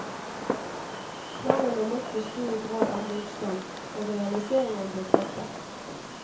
Planene møtte stor grad av motstand, og realiseringen ble droppet.